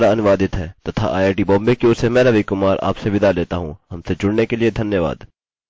अतः हमसे दूसरे भाग में मिलिए यह स्क्रिप्ट सकीना शेख द्वारा अनुवादित है तथा आईआईटी बॉम्बे की ओर से मैं रवि कुमार आपसे विदा लेता हूँ हमसे जुड़ने के लिए धन्यवाद